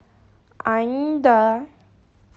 аньда